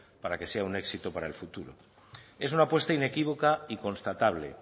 para que sea un éxito para el futuro es una apuesta inequívoca y constatable